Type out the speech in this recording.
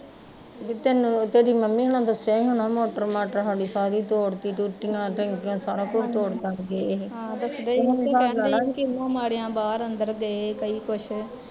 ਤੈਨੂੰ ਤੇਰੀ ਮੰਮੀ ਹੁਣਾ ਦੱਸਿਆ ਈ ਹੋਣਾ ਕਿ ਮੋਟਰ ਮਾਟਰ ਸਾਡੀ ਸਾਰੀ ਤੋੜਤੀ, ਟੂਟੀਆ ਟੈਂਕੀਆ ਸਾਰਾ ਕੁਸ਼ ਤੋੜ ਗਏ